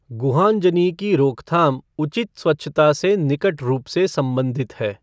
गुहांजनी की रोक थाम उचित स्वच्छता से निकट रूप से संबंधित है।